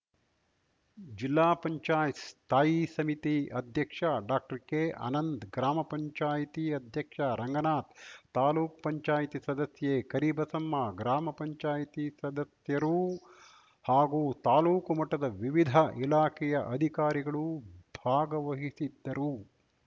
ಜಿಲ್ಲಾ ಪಂಚಾಯತ್ ಸ್ಥಾಯಿ ಸಮಿತಿ ಅಧ್ಯಕ್ಷ ಡಾಕ್ಟರ್ಕೆ ಅನಂತ್‌ ಗ್ರಾಮ ಪಂಚಾಯತಿ ಅಧ್ಯಕ್ಷ ರಂಗನಾಥ್‌ ತಾಲೂಕ್ ಪಂಚಾಯತಿ ಸದಸ್ಯೆ ಕರಿಬಸಮ್ಮ ಗ್ರಾಮ ಪಂಚಾಯತಿ ಸದಸ್ಯರೂ ಹಾಗೂ ತಾಲೂಕು ಮಟ್ಟದ ವಿವಿಧ ಇಲಾಖೆಯ ಅಧಿಕಾರಿಗಳು ಭಾಗವಹಿಸಿದ್ದರು